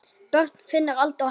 Börn: Finnur, Alda og Elmar.